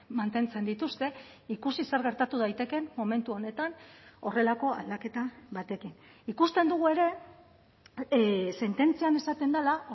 mantentzen dituzte ikusi zer gertatu daitekeen momentu honetan horrelako aldaketa batekin ikusten dugu ere sententzian esaten dela